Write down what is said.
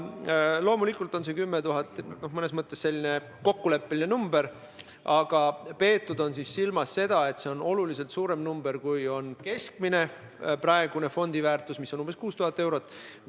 Loomulikult on see 10 000 mõnes mõttes kokkuleppeline summa, aga silmas on peetud seda, et see on oluliselt suurem, kui on praegune keskmine fondiväärtus, mis on umbes 6000 eurot.